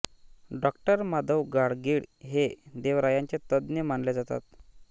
डॉ माधव गाडगीळ हे देवरायांचे तज्ज्ञ मानले जातात